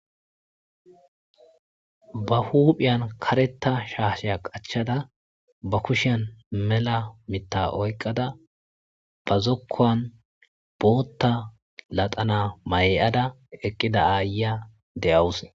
Ba huphiyan karetta shaashe qachchada ba kushiyan mela mitta oyiqqada ba zokkuwan bootta laxana mayi'ada eqqida aayiyya de'awus.